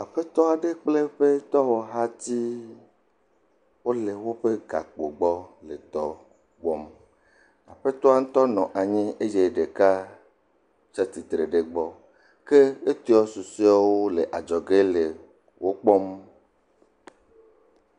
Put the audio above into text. Aƒetɔ aɖe kple eƒe dɔwɔhati wole woƒe gakpo gbɔ le dɔ wɔm. Aƒetɔa ŋutɔ nɔ anyi eye ɖeka tsi atsitre ɖe egbɔ ke etɔ susɔewo le adzɔge le wokpɔm.